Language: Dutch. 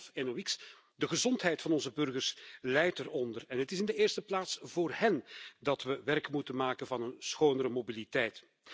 Fijnstof, NOx de gezondheid van onze burgers lijdt eronder en het is in de eerste plaats voor hen dat we werk moeten maken van een schonere mobiliteit.